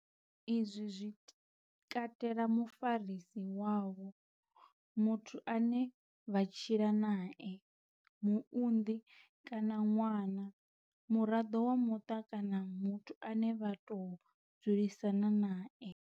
Izwi zwi katela mufarisi wavho muthu ane vha tshila nae, muunḓi kana ṅwana, muraḓo wa muṱa kana muthu ane vha tou dzulisana nae.